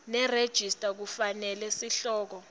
nerejista kufanele sihloko